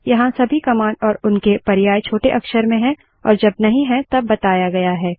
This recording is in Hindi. यहाँ सभी कमांड और उनके पर्याय छोटे अक्षर में हैं और जब नहीं है तब बताया गया है